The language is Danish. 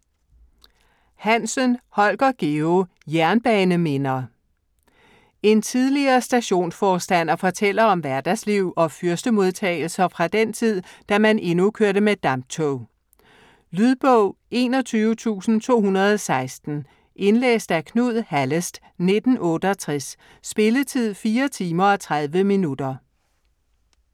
Hansen, Holger Georg: Jernbaneminder En tidligere stationsforstander fortæller om hverdagsliv og fyrstemodtagelser fra den tid, da man endnu kørte med damptog. Lydbog 21216 Indlæst af Knud Hallest, 1968. Spilletid: 4 timer, 30 minutter.